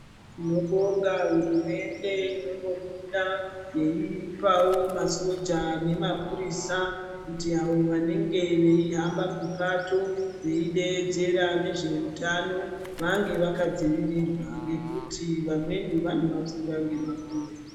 Tino bonga hurumende inombo buda yeipawo ma soja nema purisa kuti avo vanenge veihamba mupato veidedzera nezve hutano vange vakadzivirirwa ngekuti vamweni vano vafura nema puwe.